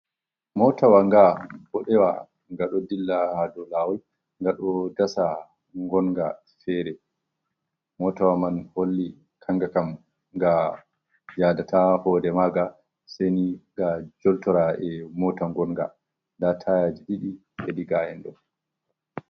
"Motawa" ga ɓodewa ga ɗo dilla ha dow lawol ga ɗo dasa gonga fere motawa man holli kanga kam ga yadata hoɗe maga seni ga joltora e'mota gonga da tayaji didi hedigayen ɗo.